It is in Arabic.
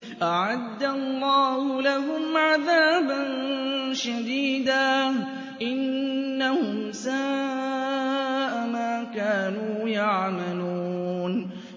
أَعَدَّ اللَّهُ لَهُمْ عَذَابًا شَدِيدًا ۖ إِنَّهُمْ سَاءَ مَا كَانُوا يَعْمَلُونَ